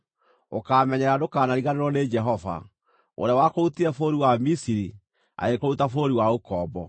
ũkaamenyerera ndũkanariganĩrwo nĩ Jehova, ũrĩa wakũrutire bũrũri wa Misiri, agĩkũruta bũrũri wa ũkombo.